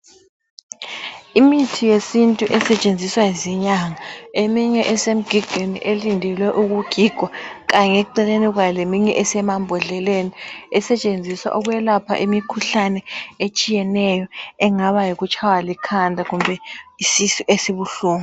Imithi yesintu esetshenziswa zinyanga, eminye isemgigweni elindelwe ukugigwa kanye eceleni kwayo leminye esemambodleleni esetshenziswa ukwelapha imikhuhlane etshiyeneyo engaba yikutshaywa likhanda kumbe isisu esibuhlungu.